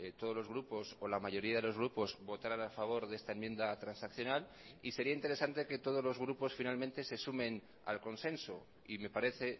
todos los grupos o la mayoría de los grupos votarán a favor de esta enmienda transaccional y sería interesante que todos los grupos finalmente se sumen al consenso y me parece